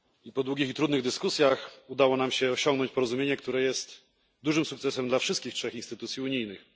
Po długich i trudnych dyskusjach udało nam się osiągnąć porozumienie, które jest dużym sukcesem dla wszystkich trzech instytucji unijnych.